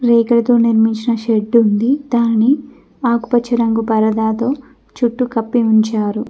రేకులతో నిర్మించిన షెడ్డు ఉంది దానిని ఆకుపచ్చ రంగు పరదాతో చుట్టూ కప్పి ఉంచారు.